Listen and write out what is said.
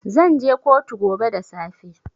Zan je kotu gobe da safe.